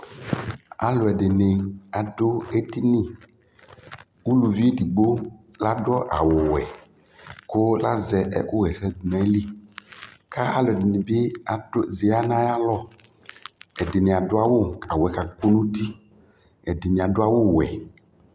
alʊɛdɩnɩ adʊ edini, kʊ uluvi edigbo adʊ awu wɛ, kʊ azɛ ɛkʊ ɣa ɛsɛ dʊ nʊ ayili, kʊ aluɛdɩnɩ bɩ ya nʊ ayalɔ, ɛdɩnɩ adʊ awu kʊcawu yɛ kakʊ nuti, ɛdɩnɩ adʊ awu wɛ